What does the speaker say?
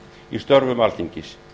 í störfum alþingis